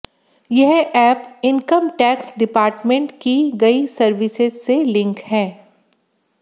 यह app income tax department की गई सर्विसेज से लिंक है